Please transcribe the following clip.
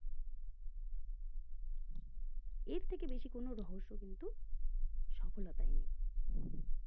এর থেকে বেশি কোনো রহস্য কিন্তু সফলতায় নেই